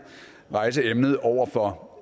rejse emnet over for